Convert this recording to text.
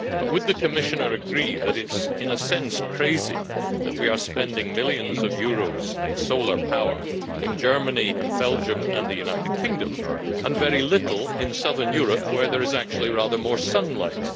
However, would the Commissioner not agree that it is, in a sense, crazy that we are spending millions of euros on solar power in Germany, Belgium and the United Kingdom and very little in southern Europe, where there is actually rather more sunlight?